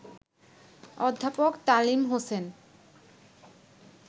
অধ্যাপক তালিম হোসেন